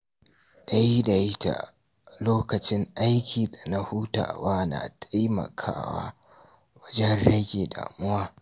Daidaita lokacin aiki da na hutawa yana taimakawa wajen rage damuwa.